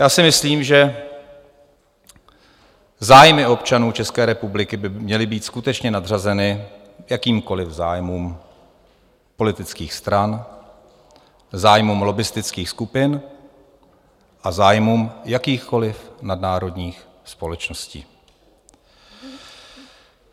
Já si myslím, že zájmy občanů České republiky by měly být skutečně nadřazeny jakýmkoliv zájmům politických stran, zájmům lobbistických skupin a zájmům jakýchkoliv nadnárodních společností.